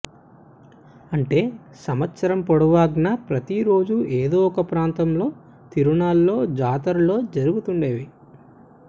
అంటే సంవత్సరం పొడువ్ఞనా ప్రతి రోజూ ఏదో ఒక ప్రాంతంలో తిరునాళ్లో జాతరలో జరుగుతుండేవి